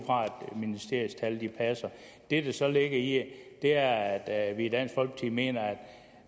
fra at ministeriets tal passer det der så ligger i det er at vi i dansk folkeparti mener